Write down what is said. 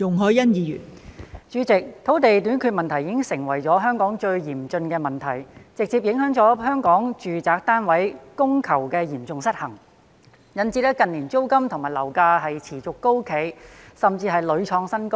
代理主席，土地短缺問題已經成為香港最嚴峻的問題，直接造成香港住宅單位供求嚴重失衡，導致近年租金和樓價持續高企，甚至屢創新高。